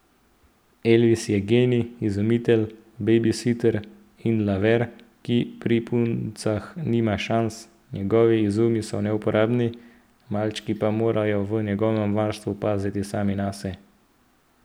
Elvis je genij, izumitelj, bejbisiter in laver, ki pri puncah nima šans, njegovi izumi so neuporabni, malčki pa morajo v njegovem varstvu paziti sami nase.